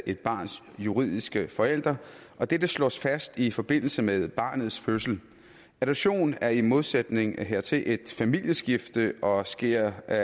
et barns juridiske forældre og dette slås fast i forbindelse med barnets fødsel adoption er i modsætning hertil et familieskifte og sker af